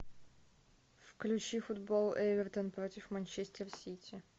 включи футбол эвертон против манчестер сити